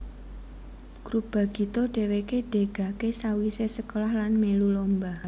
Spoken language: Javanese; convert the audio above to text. Grup Bagito dheweke degake sawisé sekolah lan mèlu lomba